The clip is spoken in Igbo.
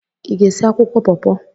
Ị ga-esi akwụkwọ paw-paw?